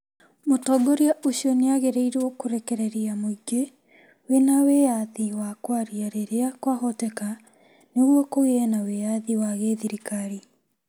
Mũtongoria ũcio nĩ aathĩrĩirio kũrekereria mũingĩ wĩ na wĩyathi wa kwaria rĩrĩa kwahoteka nĩguo kũgĩe na wĩyathi wa gĩthirikari.